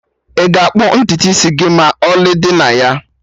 Ị ga-akpụ ntutu isi gị maka ọlị dị na ya?